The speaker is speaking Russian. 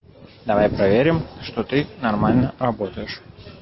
давай проверим что ты нормально работаешь